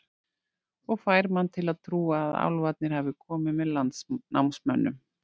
Og fær mann til að trúa að álfarnir hafi komið með landnámsmönnum.